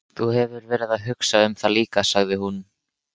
Þú hefur verið að hugsa um það líka, sagði hún.